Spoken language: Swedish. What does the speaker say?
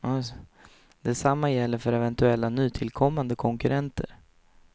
Det samma gäller för eventuella nytillkommande konkurrenter.